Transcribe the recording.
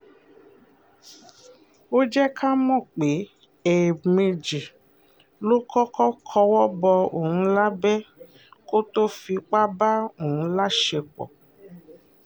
ó jẹ́ ká mọ̀ pé ẹ̀ẹ̀mejì ló kọ́kọ́ kọwọ́ bọ òun lábẹ́ kó tóo fipá bá òun láṣepọ̀